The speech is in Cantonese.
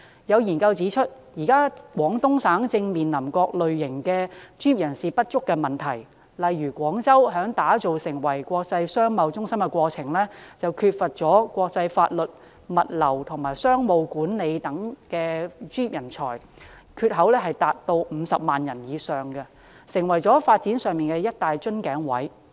有研究指出，現時廣東省正面臨各類專業人士不足的問題，例如廣州在打造成為國際商貿中心的過程中，缺乏國際法律、物流和商務管理等方面的專業人才，缺口達到50萬人以上，成為發展上的一大瓶頸位。